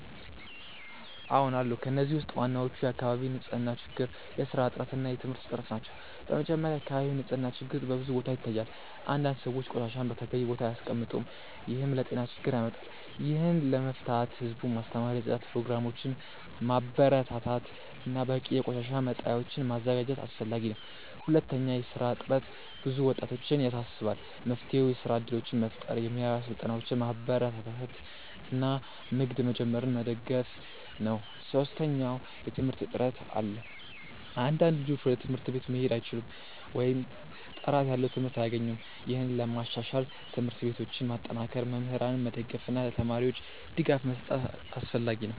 አዎን አሉ። ከእነዚህ ውስጥ ዋናዎቹ የአካባቢ ንፅህና ችግር፣ የስራ እጥረት እና የትምህርት እጥረት ናቸው። በመጀመሪያ፣ የአካባቢ ንፅህና ችግር በብዙ ቦታዎች ይታያል። አንዳንድ ሰዎች ቆሻሻን በተገቢው ቦታ አያስቀምጡም፣ ይህም ለጤና ችግር ያመጣል። ይህን ለመፍታት ህዝቡን ማስተማር፣ የጽዳት ፕሮግራሞችን ማበረታታት እና በቂ የቆሻሻ መጣያዎችን ማዘጋጀት አስፈላጊ ነው። ሁለተኛ፣ የስራ እጥረት ብዙ ወጣቶችን ያሳስባል። መፍትሄው የስራ እድሎችን መፍጠር፣ የሙያ ስልጠናዎችን ማበረታታት እና ንግድ መጀመርን መደገፍ ነው። ሶስተኛ፣ የትምህርት እጥረት አለ። አንዳንድ ልጆች ወደ ትምህርት ቤት መሄድ አይችሉም ወይም ጥራት ያለው ትምህርት አያገኙም። ይህን ለማሻሻል ትምህርት ቤቶችን ማጠናከር፣ መምህራንን መደገፍ እና ለተማሪዎች ድጋፍ መስጠት አስፈላጊ ነው።